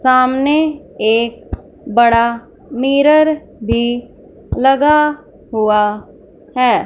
सामने एक बड़ा मिरर भी लगा हुआ है।